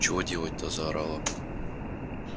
чего делать-то заорала